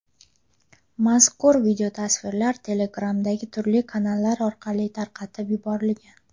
Mazkur videotasvirlar Telegram’dagi turli kanallar orqali tarqatib yuborilgan.